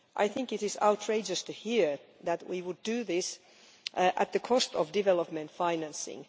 I think it is outrageous to hear that we would do this at the cost of development financing.